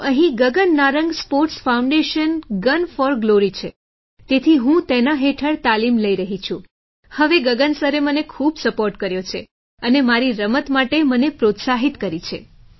તો અહીં Gagan Narang sports foundation gun for glory છે તેથી હું તેના હેઠળ તાલીમ લઈ રહી છું હવે ગગન સરે મને ખૂબ સપોર્ટ કર્યો છે અને મારી રમત માટે મને પ્રોત્સાહિત કરી છે